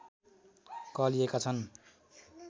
कहलिएका छन्